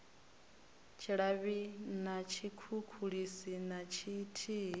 tshilavhi na tshikhukhulisi na tshithihi